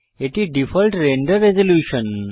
এটি default render resolution